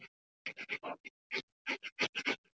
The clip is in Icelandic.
Fjarvera mín mundi vekja umtal og athygli.